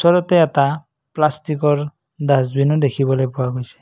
তলতে এটা প্লাষ্টিকৰ ডাছবিনো দেখিবলৈ পোৱা গৈছে।